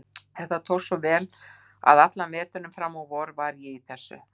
Þetta tókst svo vel að allan veturinn og fram á vor var ég í þessu.